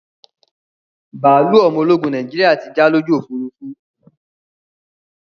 Bàálú ọmọ ológun Nàìjíríà tí já lójú Òfurufú